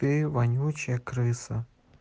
ты вонючая крыса